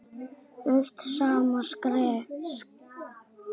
eitt og sama skrifa